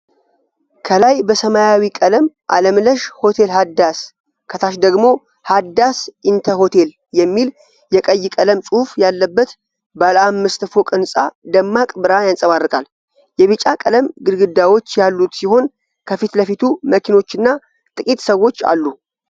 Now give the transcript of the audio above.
ከላይ በሰማያዊ ቀለም "አለምለሽ ሆቴል ሃዳስ" ከታች ደግሞ “ሀዳስ ኢንተ ሆቴል” የሚል የቀይ ቀለም ጽሑፍ ያለበት ባለአምስት ፎቅ ህንጻ ደማቅ ብርሃን ያንጸባርቃል። የቢጫ ቀለም ግድግዳዎች ያሉት ሲሆን ከፊት ለፊቱ መኪኖችና ጥቂት ሰዎች አሉ።